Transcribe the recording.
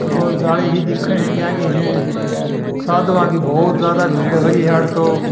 जाली सी दिख रही है साधुओ की बहुत ज्याद भीड़ हो रही है आडे तो।